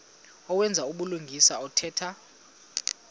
owenza ubulungisa othetha